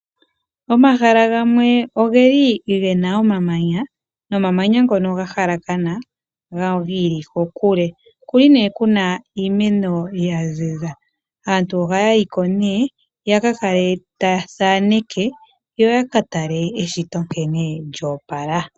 Omahala gamwe ogeli gena omamanya, nomamanya ngono ga halakana giili kokule. Kuli nee kuna iimeno ya ziza. Aantu ohaya yiko nee, ya ka kale taya thaneke, yo ya ka tale eshito nkene lyoopala.